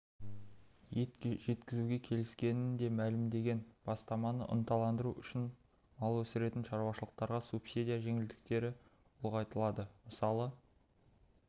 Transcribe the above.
ет жеткізуге келіскенін де мәлімдеген бастаманы ынталандыру үшін мал өсіретін шаруашылықтарға субсидия жеңілдіктері ұлғайтылды мысалы